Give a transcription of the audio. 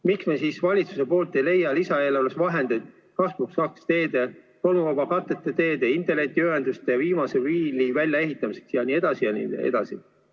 Miks siis valitsus ei leia lisaeelarves vahendeid 2 + 2 teede, tolmuvaba kattega teede, internetiühenduse, viimase miili väljaehitamiseks jne?